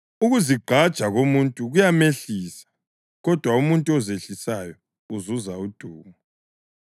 Ukuzigqaja komuntu kuyamehlisa, kodwa umuntu ozehlisayo uzuza udumo.